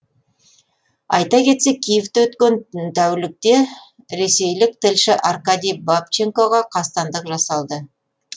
айта кетсек киевте өткен тәулікте ресейлік тілші аркадий бабченкоға қастандық жасалды